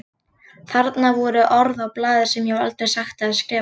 Þarna voru orð á blaði sem ég hef aldrei sagt eða skrifað.